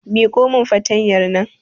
Miƙo min fartanyar nan